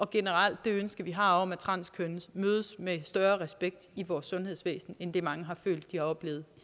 generelle ønske vi har om at transkønnede mødes med større respekt i vores sundhedsvæsen end hvad mange har følt de har oplevet